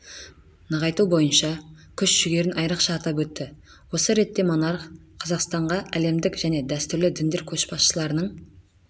нығайту бойынша күш-жүгерін айрықша атап өтті осы ретте монарх қазақстанға әлемдік және дәстүрлі діндер көшбасшыларының